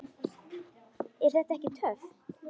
Er þetta ekki töff?